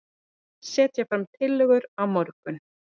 Setja fram tillögur á morgun